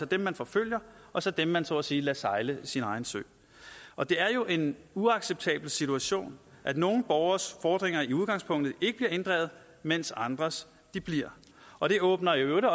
dem man forfølger og så dem man så at sige lader sejle sin egen sø og det er jo en uacceptabel situation at nogle borgeres fordringer i udgangspunktet ikke bliver inddrevet mens andres bliver og det åbner i øvrigt